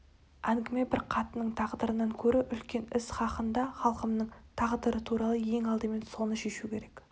әңгіме бір қатынның тағдырынан көрі үлкен іс хақында халқымның тағдыры туралы ең алдымен соны шешу керек